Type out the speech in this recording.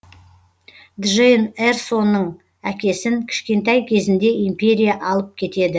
джейн эрсоның әкесін кішкентай кезінде империя алып кетеді